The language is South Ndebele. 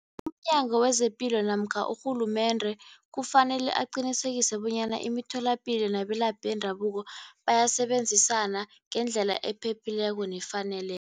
UmNyango wezePilo namkha urhulumende kufanele aqinisekise bonyana imitholapilo nabelaphi bendabuko, bayasebenzisana ngendlela ephephileko nefaneleko.